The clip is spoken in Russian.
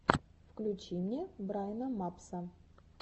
включи мне брайна мапса